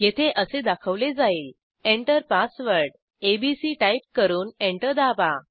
येथे असे दाखवले जाईल160 Enter password एबीसी टाईप करून एंटर दाबा